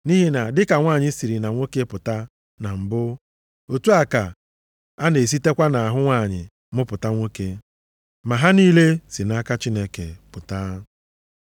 Nʼihi na dịka nwanyị siri na nwoke pụta na mbụ, otu a ka a na-esitekwa nʼahụ nwanyị mụpụta nwoke. Ma ha niile si nʼaka Chineke pụta.